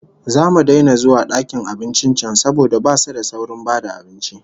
Zamu daina zuwa dakin abincin can saboda basu da saurin ba da abinci